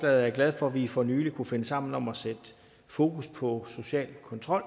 er glad for at vi for nylig kunne finde sammen om at sætte fokus på social kontrol